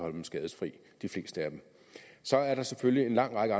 af dem skadesløse så er der selvfølgelig en lang række